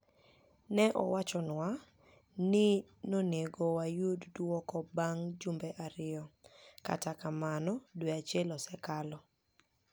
ni e owachniwa nii noni ego wayud dwoko banig ' jumbe ariyo, kata kamano, dwe achiel osekalo.